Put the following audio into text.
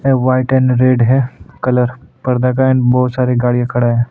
White and red है colour पर्दा का एंड बहुत सारे गाड़ियां खड़ा है।